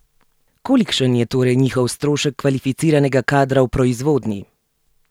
Kolikšen je torej njihov strošek kvalificiranega kadra v proizvodnji?